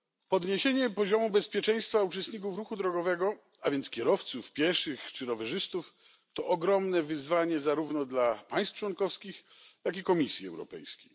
Podniesienie poziomu bezpieczeństwa uczestników ruchu drogowego, a więc kierowców, pieszych czy rowerzystów, to ogromne wyzwanie zarówno dla państw członkowskich, jak i Komisji Europejskiej.